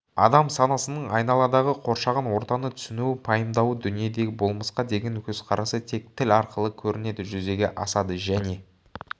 адам санасының айналадағы қоршаған ортаны түсінуі пайымдауы дүниедегі болмысқа деген көзқарасы тек тіл арқылы көрінеді жүзеге асады және